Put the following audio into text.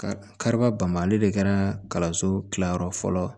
Kari kariba bamali de kɛra so kilayɔrɔ fɔlɔ